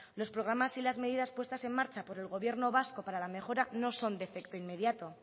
los programas y las medidas puestas en marcha por el gobierno vasco para la mejora no son de efecto inmediato